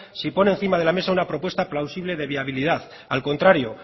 si pone encima de la mesa una propuesta plausible de viabilidad al contrario